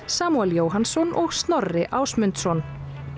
Samúel Jóhannsson og Snorri Ásmundsson